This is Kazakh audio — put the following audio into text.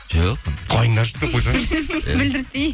жоқ ондай қойыңдаршы деп қойсаңызшы білдіртпей